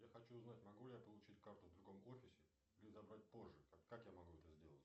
я хочу узнать могу ли я получить карту в другом офисе или забрать позже как я могу это сделать